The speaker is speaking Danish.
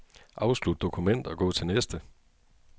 Afslut dokument og gå til næste.